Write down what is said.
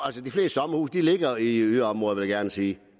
de ligger i yderområderne vil jeg gerne sige de